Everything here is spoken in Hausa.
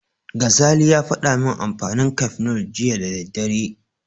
Gazali ya faɗa min amfanin Cafenol jiya da daddare.